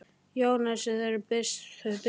Jónasar í þeirri mynd sem þau birtust í bók Sturlu?